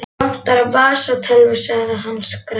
Mig vantar vasatölvu, sagði hann skrækur.